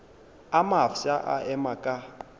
a mafsa a ema ka